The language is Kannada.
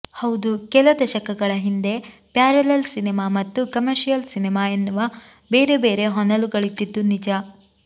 ಹೌದು ಕೆಲ ದಶಕಗಳ ಹಿಂದೆ ಪ್ಯಾರಲಲ್ ಸಿನೆಮಾ ಮತ್ತು ಕಮರ್ಷಿಯಲ್ ಸಿನೆಮಾ ಎನ್ನುವ ಬೇರೆ ಬೇರೆ ಹೊನಲುಗಳಿದ್ದದ್ದು ನಿಜ